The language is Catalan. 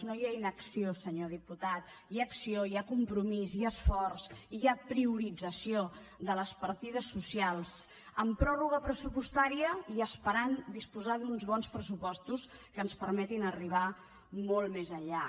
no hi ha inacció senyor diputat hi ha acció hi ha compromís hi ha esforç hi ha priorització de les partides socials amb pròrroga pressupostària i esperem disposar d’uns bons pressupostos que ens permetin arribar molt més enllà